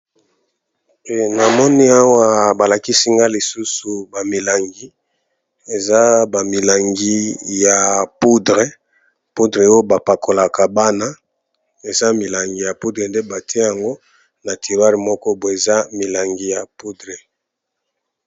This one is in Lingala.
Awa namoni balakisi biso lisusu bamilangi ya ba poudre oyo ba pakolaka bana mike